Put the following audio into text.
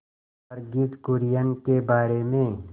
वर्गीज कुरियन के बारे में